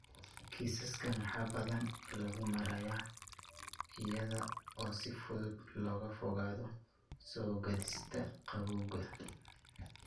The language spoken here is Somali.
Kiisaskan waxaa badanaa lagu maareeyaa iyada oo si fudud looga fogaado soo-gaadhista qabowga.